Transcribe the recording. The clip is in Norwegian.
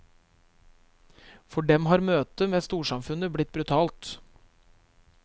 For dem har møtet med storsamfunnet blitt brutalt.